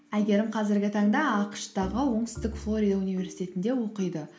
әйгерім қазіргі таңда ақш тағы оңтүстік флорида университетінде оқиды